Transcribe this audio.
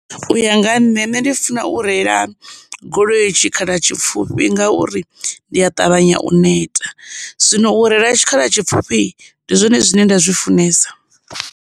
U ya nga nṋe, nṋe ndi funa u reila goloi tshikhala tshipfhufhi ngauri, ndi a ṱavhanya u neta. Zwino u reila tshikhala tshipfhufhi ndi zwone zwine nda zwi funesa.